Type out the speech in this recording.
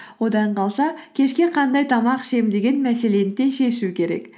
одан қалса кешке қандай тамақ ішемін деген мәселені де шешу керек